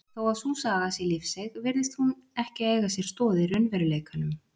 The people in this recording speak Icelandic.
Þó að sú saga sé lífseig virðist hún ekki eiga sér stoð í raunveruleikanum.